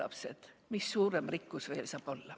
Mis saaks olla veel suurem rikkus!